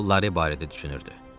O Lora barədə düşünürdü.